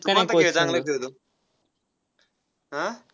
तू कोणता खेळ चांगला खेळतो? आह